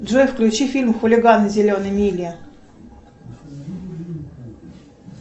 джой включи фильм хулиганы зеленой мили